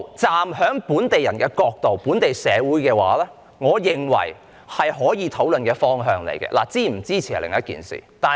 站在本地人、本地社會的角度，我認為這些全部是可以討論的方向，是否支持是另一回事。